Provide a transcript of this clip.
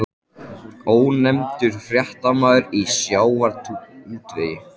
Ónefndur fréttamaður: Í sjávarútvegi?